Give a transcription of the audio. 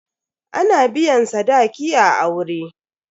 Ana biyan sadaki a aure.